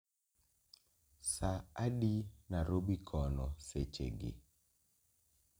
sa adi narobi kono sechegi